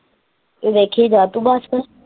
ਤੂ ਦੇਖੀ ਜਾ ਤੂ ਬੱਸ।